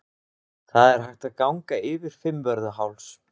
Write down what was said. Það er hægt að ganga yfir Fimmvörðuháls.